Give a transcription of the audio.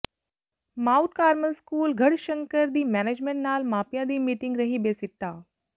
Mount Carmel school Garhshankar ਦੀ management ਨਾਲ ਮਾਪਿਆਂ ਦੀ ਮੀਟਿੰਗ ਰਹੀ ਬੇਸਿੱਟਾ